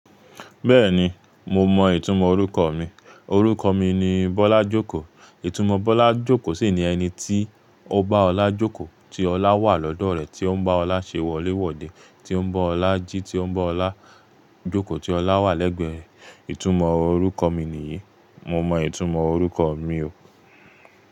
Bẹ́ẹ̀ni, mo mọ ìtumọ̀ orúkọ mi. Òrúkọ mi ni Bọ́lájókòó. Ìtumò Bọ́lájókòó sì ni ẹni tí ó bá ọlá jókòó, tí ọlá wà lọ́dọ̀ rẹ̀, tí ó ń bá ọlá ṣe wọlé wọ́de, tí ó ń bá ọlá jí, tí ó ń bá ọlá jókòó, tí ọlá wà lẹ́gbẹ̀ẹ́ ẹ̀. Ìtumò orúkọ mi nìyí. Mo mọ ìtumọ̀ orúkọ mi o.